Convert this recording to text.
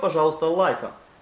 пожалуйста лайком